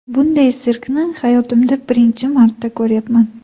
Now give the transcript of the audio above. Bunday sirkni hayotimda birinchi marta ko‘ryapman.